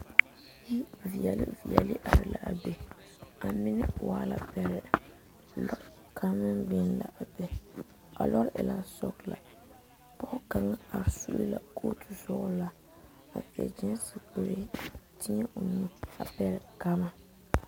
Yi veɛle veɛle are la a be a mine waa la bɛrɛ lɔre kaŋ meŋ biŋ la a be a lɔre e la sɔgelaa pɔge kaŋ are subka kɔɔtu sɔgelaa a seɛ kyeese kuree teɛ o nuba pɛgele gama